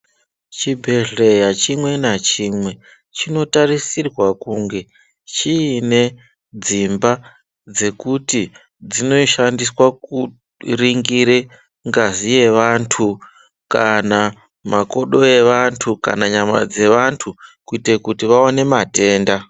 Chibhehleya chimwe nachimwe chinotarisirwa kunge chiine dzimba dzekuti dzinoshandiswa kuringire ngazi yevantu kana makodo evantu kana nyama dzevantu kuite kuti vaone matenda.